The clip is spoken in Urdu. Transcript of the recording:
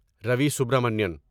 روی سبرامنین